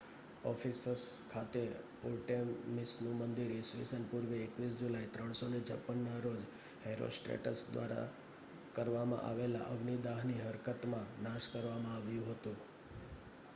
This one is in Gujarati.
એફિસસ ખાતે આર્ટેમિસનું મંદિર ઈસવીસન પૂર્વે 21 જુલાઈ 356ના રોજ હેરોસ્ટ્રેટસ દ્વારા કરવામાં આવેલા અગ્નિદાહની હરકતમાં નાશ કરવામાં આવ્યું હતું